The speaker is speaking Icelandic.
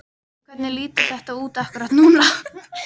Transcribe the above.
Hvernig lítur þetta út akkúrat núna?